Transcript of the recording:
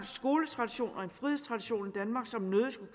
skoletradition og en frihedstradition i danmark som nødig skulle